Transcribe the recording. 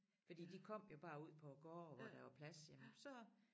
Fordi de kom jo bare ud på gårde hvor der var plads jamen så